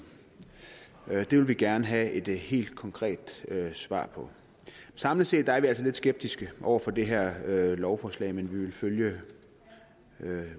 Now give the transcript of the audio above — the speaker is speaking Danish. det vil vi gerne have et helt konkret svar på samlet set er vi altså lidt skeptiske over for det her lovforslag men vi vil følge